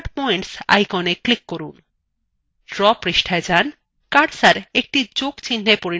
draw পৃষ্ঠায় যান cursor একটি যোগ চিহ্নa পরিণত হবে